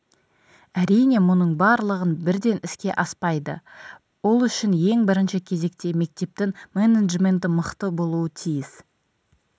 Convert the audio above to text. әрине мұның барлығы бірден іске аспайды ол үшін ең бірінші кезекте мектептің менеджменті мықты болу тиіс